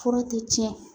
Fura tɛ tiɲɛ